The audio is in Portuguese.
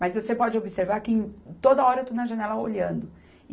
Mas você pode observar que em toda hora eu estou na janela olhando. E